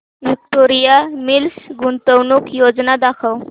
Victoria mills गुंतवणूक योजना दाखव